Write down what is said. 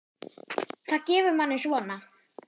Það gefur manni svona.